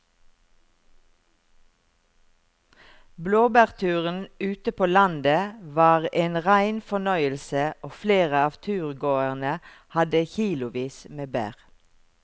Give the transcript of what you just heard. Blåbærturen ute på landet var en rein fornøyelse og flere av turgåerene hadde kilosvis med bær.